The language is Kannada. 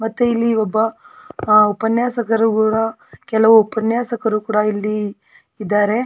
ಮತ್ತೆ ಇಲ್ಲಿ ಒಬ್ಬ ಅಹ್ ಉಪನ್ಯಾಸಕರು ಕೂಡ ಕೆಲವು ಉಪನ್ಯಾಸಕರು ಕೂಡ ಇಲ್ಲಿ ಇದಾರೆ.